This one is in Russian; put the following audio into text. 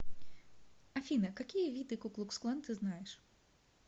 афина какие виды ку клукс клан ты знаешь